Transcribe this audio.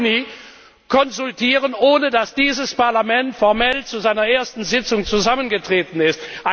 dem 7. Juni konsultieren, ohne dass dieses Parlament formell zu seiner ersten Sitzung zusammengetreten